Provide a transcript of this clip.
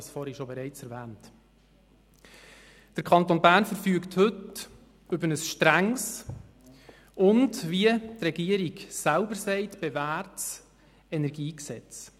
Der Kanton Bern verfügt heute über ein strenges und bewährtes KEnG, wie die Regierung selber sagt.